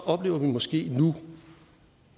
oplever vi måske nu